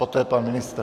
Poté pan ministr.